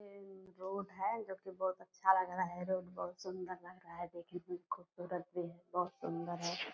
ये इ रोड है जो की बहुत अच्छा लग रहा है। रोड बहुत सुंदर लग रहा है खूबसूरत भी है बहुत सुंदर है।